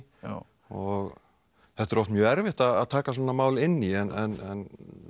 og þetta er oft mjög erfitt að taka svona mál inn í en